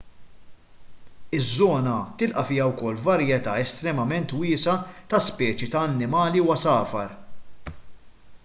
iż-żona tilqa' fiha wkoll varjetà estremament wiesgħa ta' speċi ta' annimali u għasafar